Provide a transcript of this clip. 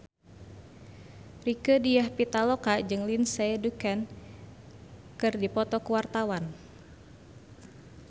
Rieke Diah Pitaloka jeung Lindsay Ducan keur dipoto ku wartawan